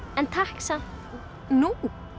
en takk samt nú